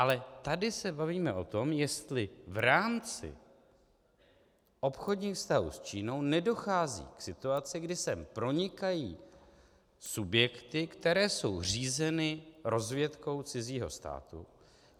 Ale tady se bavíme o tom, jestli v rámci obchodních vztahů s Čínou nedochází k situaci, kdy sem pronikají subjekty, které jsou řízeny rozvědkou cizího státu.